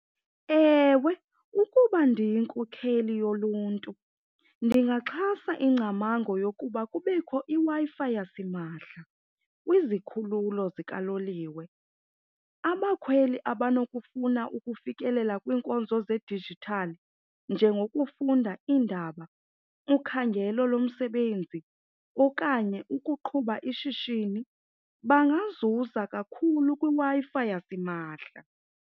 Ewe, ukuba ndiyinkokheli yoluntu ndingaxhasa ingcamango yokuba kubekho iWi-Fi yasimahla kwizikhululo zikaloliwe. Abakhweli abanokufuna ukufikelela kwiinkonzo zedijithali njengokufunda iindaba, ukhangelo lomsebenzi okanye ukuqhuba ishishini bangazuza kakhulu kwiWi-Fi yasimahla.